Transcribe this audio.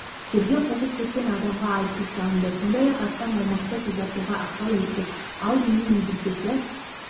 жерге қоқыс төккен адамға айыппұл салынды сондай-ақ астам аумақты тазартуға ықпал еттік ал ең негізгісі